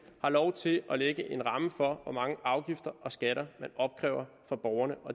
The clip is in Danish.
har lov til at lægge en ramme for hvor mange afgifter og skatter man opkræver af borgerne